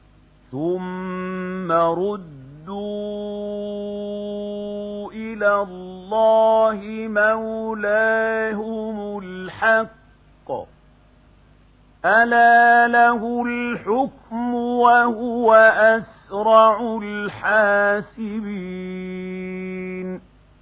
ثُمَّ رُدُّوا إِلَى اللَّهِ مَوْلَاهُمُ الْحَقِّ ۚ أَلَا لَهُ الْحُكْمُ وَهُوَ أَسْرَعُ الْحَاسِبِينَ